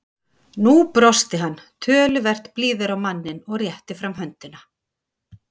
Nú brosti hann, töluvert blíðari á manninn, og rétti fram höndina.